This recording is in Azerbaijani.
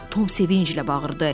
Tom sevinclə bağırdı.